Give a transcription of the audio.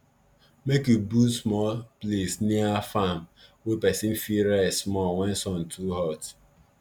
make u build small place near farm wey person fit rest small wen sun too hot